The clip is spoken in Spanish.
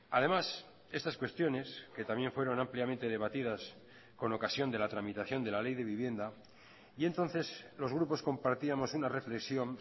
además estas cuestiones que también fueron ampliamente debatidas con ocasión de la tramitación de la ley de vivienda y entonces los grupos compartíamos una reflexión